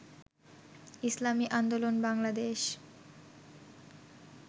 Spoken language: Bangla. ইসলামি আন্দোলন বাংলাদেশ